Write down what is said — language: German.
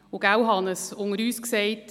Unter uns gesagt, Hannes Zaugg: